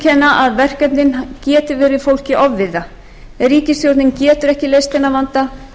að verkefnin geti verið fólki ofviða ríkisstjórnin getur ekki leyst þennan vanda sérstaklega ekki